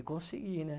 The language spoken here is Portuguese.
E consegui, né?